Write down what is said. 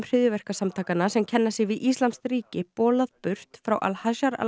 hryðjuverkasamtakanna sem kenna sig við íslamskt ríki bolað burt frá al